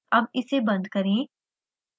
अब इसे बंद करें